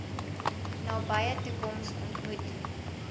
nabye toekoms ontmoet